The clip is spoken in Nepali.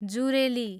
जुरेली